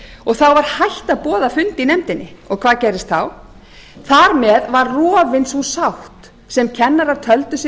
hætt að boða fund í nefndinni hvað gerðist þá þar með var rofin sú sátt sem kennarar töldu sig